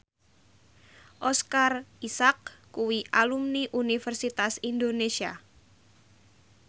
Oscar Isaac kuwi alumni Universitas Indonesia